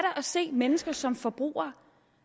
at se mennesker som forbrugere